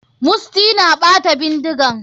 Musty na ɓata bindigan.